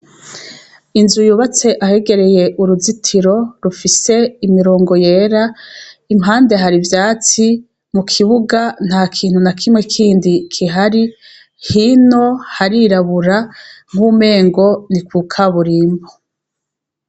Inzu yubatse ahegereye uruzitiro rufise imirongo yera, iruhande hari ivyatsi, mu kibuga, ntakintu nakimwe kindi kihari, hino harirabura nkuwumengo ni ku kaburimbo.